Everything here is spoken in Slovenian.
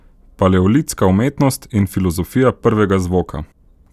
Paleolitska umetnost in filozofija prvega zvoka.